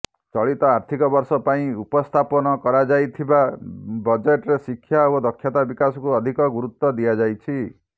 ଚଳିତ ଆର୍ଥିକ ବର୍ଷ ପାଇଁ ଉପସ୍ଥାପନ କରାଯାଇଥିବା ବଜେଟରେ ଶିକ୍ଷା ଓ ଦକ୍ଷତା ବିକାଶକୁ ଅଧିକ ଗୁରୁତ୍ୱ ଦିଆଯାଇଛି